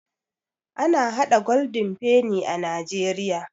Ana haɗa Golden penny a najeriya